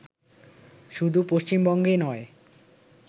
শুধু পশ্চিমবঙ্গে নয়